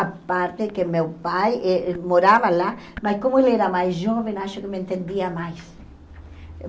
A parte que meu pai eh morava lá, mas como ele era mais jovem, acho que me entendia mais.